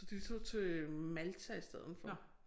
Så de tog til Malta i steden for